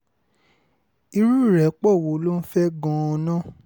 irú ìrẹ́pọ̀ wo ló ń fẹ́ gan-an